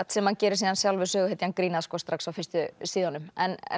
sem hann gerir síðan sjálfur söguhetjan grín að strax á fyrstu síðunum en en